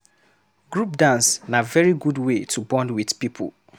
Group dance na very good wey to bond with people